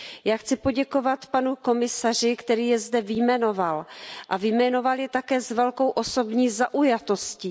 Já chci poděkovat panu komisaři, který je zde vyjmenoval a vyjmenoval je také s velkou osobní zaujatostí.